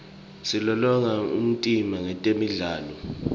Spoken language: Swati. silolonga umtimba ngetemidlalo